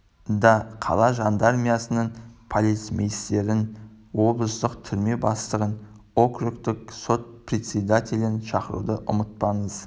да қала жандармериясының полицмейстерің облыстың түрме бастығын округтық сот председателін шақыруды ұмытпаңыз